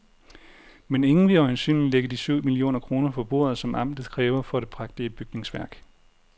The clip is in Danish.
Men ingen vil øjensynligt lægge de syv millioner kroner på bordet, som amtet kræver for det prægtige bygningsværk.